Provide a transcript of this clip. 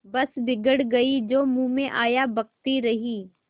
बस बिगड़ गयीं जो मुँह में आया बकती रहीं